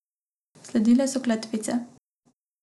Sledile so kletvice.